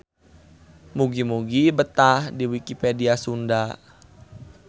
Mugi-mugi betah di Wikipedia Sunda.